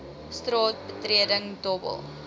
straat betreding dobbel